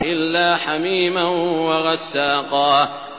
إِلَّا حَمِيمًا وَغَسَّاقًا